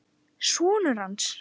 Sonur hans!